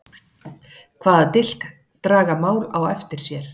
Hvaða dilk draga mál á eftir sér?